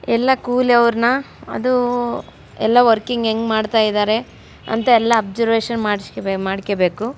ಎಲ್ಲ ಕೂಲಿ ಅವ್ರನ್ನ ಅದು ಎಲ್ಲ ವರ್ಕಿಂಗ್ ಹೆಂಗ್ ಮಾಡ್ತಿದ್ದಾರೆ ಅಂತ ಎಲ್ಲ ಒಬ್ಸರ್ವಷನ್ ಮಾಡಿಕಬೇಕು.